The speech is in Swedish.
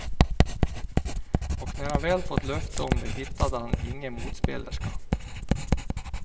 Och när han väl fått löfte om det hittade han ingen motspelerska.